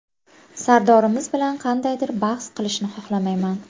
Sardorimiz bilan qandaydir bahs qilishni xohlamayman.